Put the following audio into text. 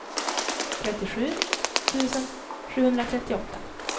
trettiosju tusen sjuhundratrettioåtta